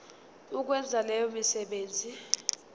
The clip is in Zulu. ukwenza leyo misebenzi